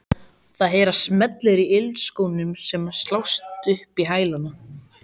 Það heyrast smellir í ilskónum sem slást upp í hælana.